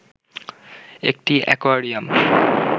একটি অ্যাকোয়ারিয়াম